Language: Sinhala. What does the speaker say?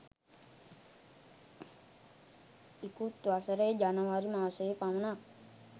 ඉකුත් වසරේ ජනවාරි මාසයේ පමණක්